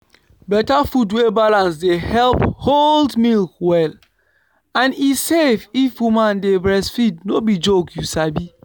better food wey balance dey help hold milk well and e safe if woman dey breastfeed no be joke you sabi.